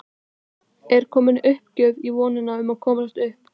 Er komin uppgjöf í vonina um að komast upp?